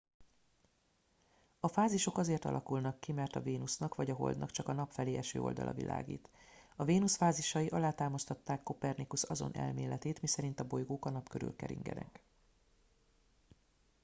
a fázisok azért alakulnak ki mert a vénusznak vagy a holdnak csak a nap felé eső oldala világít. a vénusz fázisai alátámasztották kopernikusz azon elméletét miszerint a bolygók a nap körül keringenek